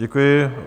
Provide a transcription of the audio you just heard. Děkuji.